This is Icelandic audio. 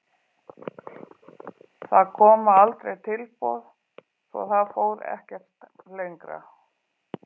Það koma aldrei tilboð svo það fór ekkert lengra.